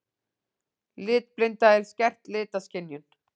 Litblinda er skert litaskynjun.